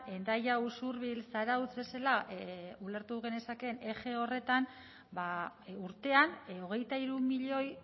hendaya usurbil zarautz bezala ulertu genezakeen eje horretan ba urtean hogeita hiru milioi